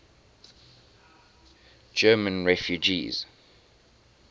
german refugees